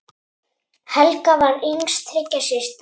Helga var yngst þriggja systra.